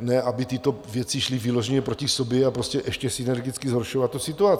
ne aby tyto věci šly vyloženě proti sobě, a prostě ještě synergicky zhoršovat tu situaci.